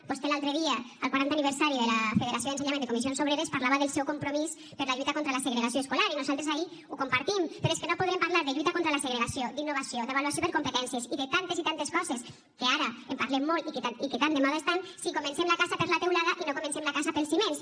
vostè l’altre dia al quaranta aniversari de la federació d’ensenyament de comissions obreres parlava del seu compromís per la lluita contra la segregació escolar i nosaltres ahí ho compartim però és que no podrem parlar de lluita contra la segregació d’innovació d’avaluació per competències i de tantes i tantes coses que ara en parlem molt i que tan de moda estan si comencem la casa per la teulada i no comencem la casa pels fonaments